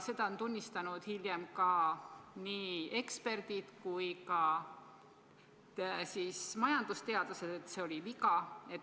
Seda on tunnistanud hiljem nii eksperdid kui ka majandusteadlased, et see oli viga.